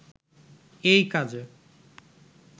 এই কাজে